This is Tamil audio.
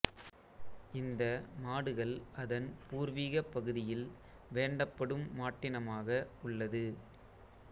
இந்த மாடுகள் அதன் பூர்வீக பகுதியில் வேண்டப்படும் மாட்டினமாக உள்ளது